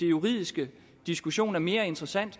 juridiske diskussion er mere interessant